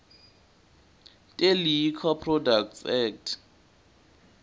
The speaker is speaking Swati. teliquor products act